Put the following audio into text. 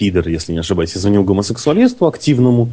пидор если не ошибаюсь и звонил гомосексуалисту активному